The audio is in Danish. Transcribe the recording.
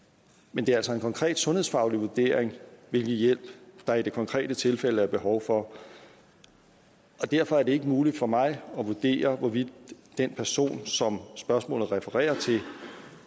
men det er altså en konkret sundhedsfaglig vurdering hvilken hjælp der i det konkrete tilfælde er behov for og derfor er det ikke muligt for mig at vurdere hvorvidt den person som spørgsmålet refererer til